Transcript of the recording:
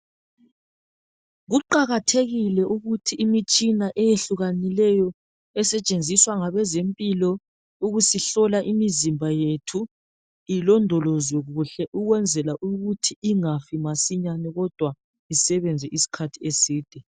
Kuqakathekile ukuthi imitshina eyehlukanileyo esetshenziswa ngabezempilo ukusihlola imizimba yethu ilondolozwe kuhle ukwenzela ukuthi ingafi masinyane kodwa isebenze iskhathi eside.